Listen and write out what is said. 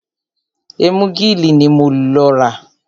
Ẹ́múgìlì ní mo lọ rà.